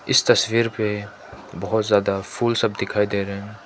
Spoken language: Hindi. इस तस्वीर पे बहोत ज्यादा फूल सब दिखाई दे रहे हैं।